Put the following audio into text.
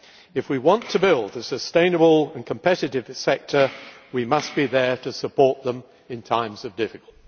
If we want to build a sustainable and competitive sector, we must be there to support them in times of difficulty.